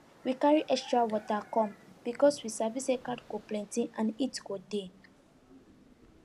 we carry extra water come because we sabi say crowd go plenty and heat go dey